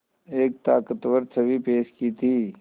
एक ताक़तवर छवि पेश की थी